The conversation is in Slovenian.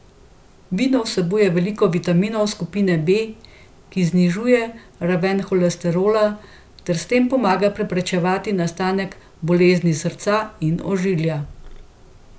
Vino vsebuje veliko vitaminov skupine B, ki znižuje raven holesterola ter s tem pomaga preprečevati nastanek bolezni srca in ožilja.